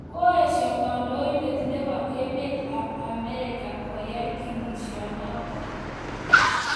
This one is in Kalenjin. Kaesha kandoindet nebo emet ab Amerika koay kiniishanotok